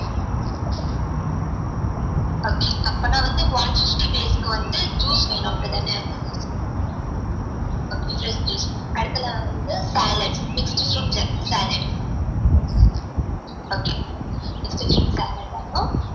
okay அப்பனா வந்து one fifty பேருக்கு வந்து juice வேணும் அப்டிதான okay fresh juice அடுத்தது வந்து salad mixed fruit salad okay mixed fruit salad வேணும்